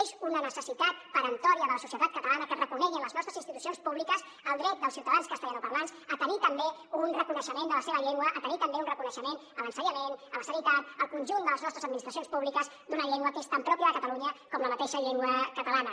és una necessitat peremptòria de la societat catalana que es reconegui a les nostres institucions públiques el dret dels ciutadans castellanoparlants a tenir també un reconeixement de la seva llengua a tenir també un reconeixement a l’ensenyament a la sanitat al conjunt de les nostres administracions públiques d’una llengua que és tan pròpia de catalunya com la mateixa llengua catalana